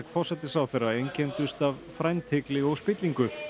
forsætisráðherra einkenndust af frændhygli og spillingu